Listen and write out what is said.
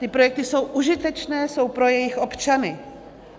Ty projekty jsou užitečné, jsou pro jejich občany.